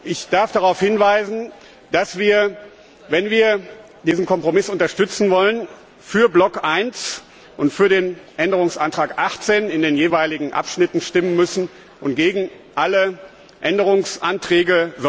Ich darf darauf hinweisen, dass wir, wenn wir diesen Kompromiss unterstützen wollen, für Block 1 und für den Änderungsantrag 18 in den jeweiligen Abschnitten stimmen müssen und gegen alle sonstigen Änderungsanträge.